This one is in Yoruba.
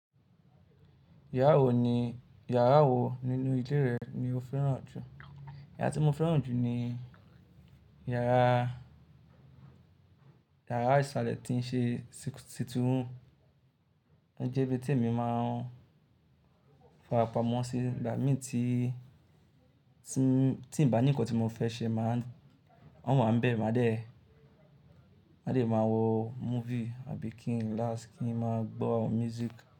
Yàrá wo nínú ilé rẹ ni o fẹ́ràn jù? Ìyàrá tí mo fẹ́ràn jù ni yàrá, yàrá ìsàlẹ̀ tí ń ṣe sìtting room, ó jẹ́ ibi tí èmi máa ń fara pamọ́ sí, ìgbà mí tí, tí ń ba ní nnkàn tí mo fẹ́ ṣe máà ń, maa wá ń bẹ, máa dẹ̀, máa dẹ̀ máa wo movie àbí kí ń relax, kin máa gbọ́ music.